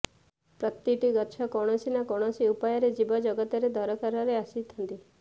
ପ୍ରତିଟି ଗଛ କୌଣସି ନା କୌଣସି ଉପାୟରେ ଜୀବଜଗତର ଦରକାରରେ ଆସିଥାନ୍ତି